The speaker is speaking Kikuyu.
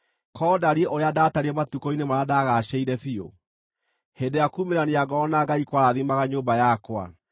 Korwo ndariĩ ũrĩa ndatariĩ matukũ-inĩ marĩa ndagaacĩire biũ, hĩndĩ ĩrĩa kuumĩrania ngoro na Ngai kwarathimaga nyũmba yakwa,